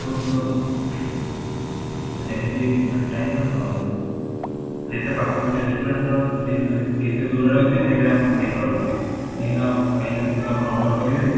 ଦେଖନ୍ତୁ ସେମିତି time ମାନେ କଣ ଯେତେ ପାଖ ମାନେ restaurant ର date ମାନେ କେତେ ଦୂରରେ ଅଛି ସେଇଟା ଆପଣ ନିର୍ଭର କରେ କାହିଁକି ନା କାହିଁକି ନା ଦେଖନ୍ତୁ ଆପଣ oder କରିବେ